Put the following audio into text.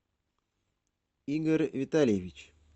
игорь витальевич